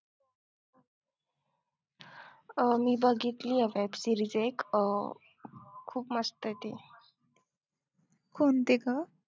अं मी बघितली आता एक series एक अं खूप मस्त येती